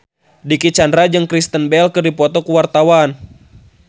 Dicky Chandra jeung Kristen Bell keur dipoto ku wartawan